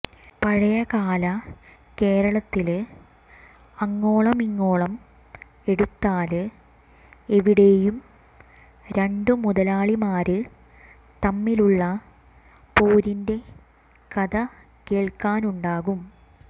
പഴയകാല കേരളത്തില് അങ്ങോളമിങ്ങോളം എടുത്താല് എവിടെയും രണ്ടു മുതലാളിമാര് തമ്മിലുള്ള പോരിന്റെ കഥകേള്ക്കാനുണ്ടാകും